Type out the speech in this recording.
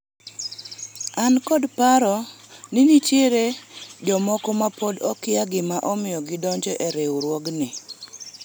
an kod paro ni nitiere jomoko ma pod okia gima omiyo gidonjo e riwruogni